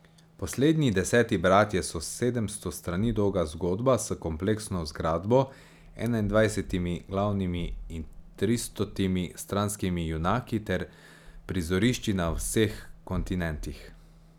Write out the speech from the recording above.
Poslednji deseti bratje so sedemsto strani dolga zgodba s kompleksno zgradbo, enaindvajsetimi glavnimi in tristotimi stranskimi junaki ter prizorišči na vseh kontinentih.